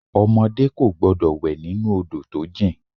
Ọmọdé kò gbọ́dọ̀ wẹ̀ nínú Odò tó jìn.